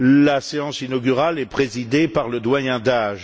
la séance inaugurale est présidée par le doyen d'âge.